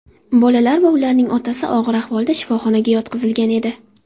Bolalar va ularning otasi og‘ir ahvolda shifoxonaga yotqizilgan edi.